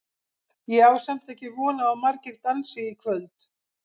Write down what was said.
Ég á samt ekki von á að margir dansi í kvöld.